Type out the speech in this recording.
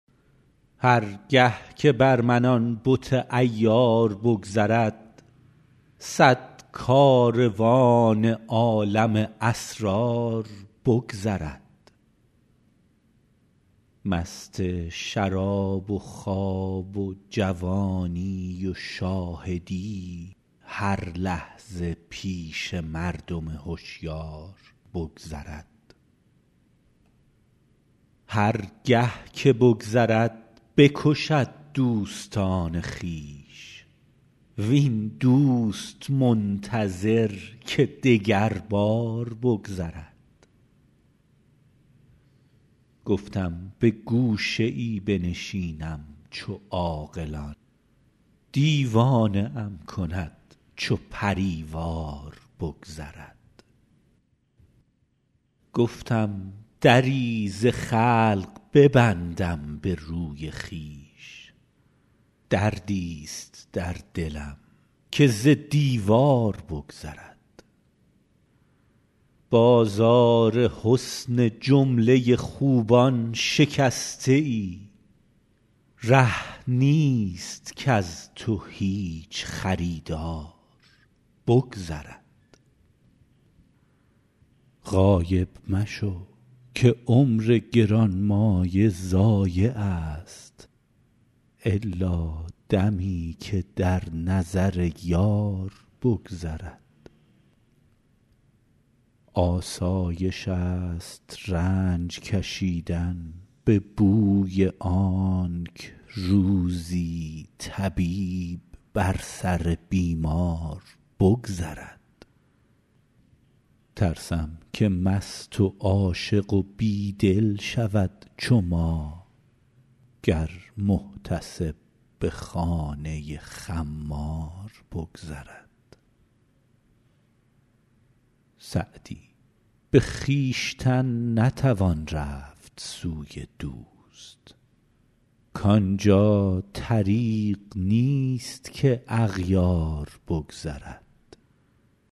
هر گه که بر من آن بت عیار بگذرد صد کاروان عالم اسرار بگذرد مست شراب و خواب و جوانی و شاهدی هر لحظه پیش مردم هشیار بگذرد هر گه که بگذرد بکشد دوستان خویش وین دوست منتظر که دگربار بگذرد گفتم به گوشه ای بنشینم چو عاقلان دیوانه ام کند چو پری وار بگذرد گفتم دری ز خلق ببندم به روی خویش دردیست در دلم که ز دیوار بگذرد بازار حسن جمله خوبان شکسته ای ره نیست کز تو هیچ خریدار بگذرد غایب مشو که عمر گرانمایه ضایعست الا دمی که در نظر یار بگذرد آسایشست رنج کشیدن به بوی آنک روزی طبیب بر سر بیمار بگذرد ترسم که مست و عاشق و بی دل شود چو ما گر محتسب به خانه خمار بگذرد سعدی به خویشتن نتوان رفت سوی دوست کان جا طریق نیست که اغیار بگذرد